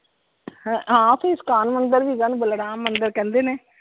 ਹਾਂ ਓਥੇ ਇਸਕਾਨ ਮੰਦਿਰ ਵੀ ਹੈਗਾ ਆ ਓਹਨੂੰ ਬਲਰਾਮ ਮੰਦਿਰ ਕਹਿੰਦੇ ਨੇ।